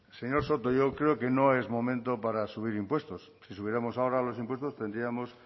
señor soto yo creo que no es momento para subir impuestos si subiéramos ahora los impuestos tendríamos